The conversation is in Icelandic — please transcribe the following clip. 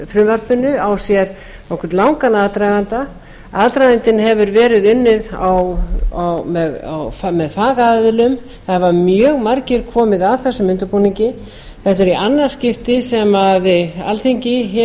frumvarpinu á sér nokkuð langan aðdraganda aðdragandinn hefur verið unnið með fagaðilum það hafa mjög margir komið að þessum undirbúningi þetta er í annað skipti sem alþingi